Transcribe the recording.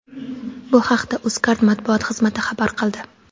Bu haqda Uzcard matbuot xizmati xabar qildi .